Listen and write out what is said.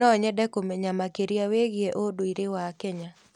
No nyende kũmenya makĩria wĩgiĩ ũndũire wa Kenya.